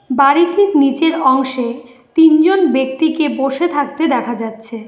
বাড়িটির নীচের অংশে তিনজন ব্যক্তিকে বসে থাকতে দেখা যাচ্ছে।